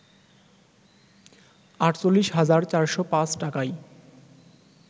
৪৮ হাজার ৪০৫ টাকায়